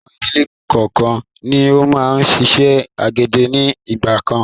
Àwọn ìdílé kọọ́kan ni ó máa ń ṣiṣẹ́ àgbẹ̀dẹ ni ìgbàkan.